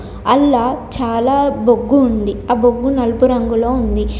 అల్లా చాలా బొగ్గు ఉంది. ఆ బొగ్గు నలుపు రంగుల్లో ఉంది.